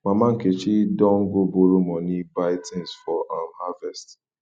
mama nkechi don go borrow money buy things for um harvest